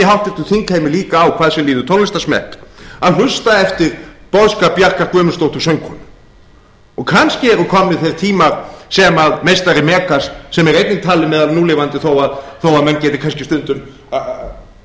háttvirtum þingheimi líka á hvað sem líður tónlistarsmekk að hlusta eftir boðskap bjarkar guðmundsdóttur söngkonu og kannski eru komnir þeir tímar sem meistari megas sem er einnig talinn meðal núlifandi þó að menn geti kannski stundum þó